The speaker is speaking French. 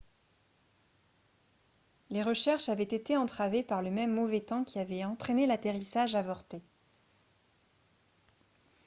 les recherches avaient été entravées par le même mauvais temps qui avait entraîné l'atterrissage avorté